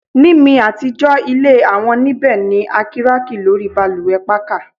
Ni mi atijọ ile awọn nibẹ ni a kiraki lori balùwẹ pakà